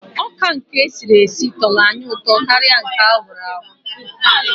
Ọka nke esiri esi tọrọ anyị ụtọ karịa nke a hụrụ ahụ.